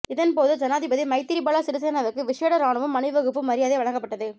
இதன் போது ஜனாதிபதி மைத்திரிபால சிறிசேனவிற்கு விஷேட இராணுவ அணிவகுப்பு மரியாதை வழங்கப்பட்டது